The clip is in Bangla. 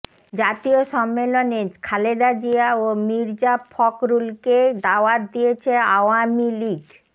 জাতীয় সম্মেলনে খালেদা জিয়া ও মির্জা ফখরুলকে দাওয়াত দিয়েছে আওয়ামী লীগ